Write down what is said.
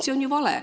See on ju vale.